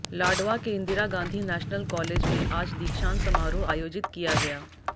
लाडवा के Indira Gandhi national college में आज दीक्षांत समारोह आयोजित किया गया